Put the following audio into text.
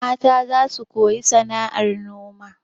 Mata za su koyi sana'ar noma.